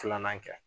Filanan kɛ